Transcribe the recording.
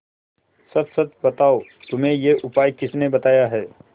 सच सच बताओ तुम्हें यह उपाय किसने बताया है